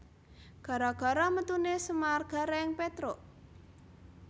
Gara gara metune Semar Gareng Petruk